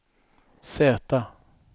Z